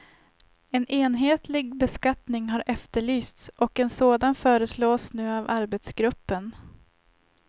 En enhetlig beskattning har efterlysts och en sådan föreslås nu av arbetsgruppen.